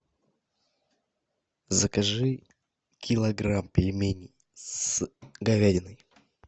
закажи килограмм пельменей с говядиной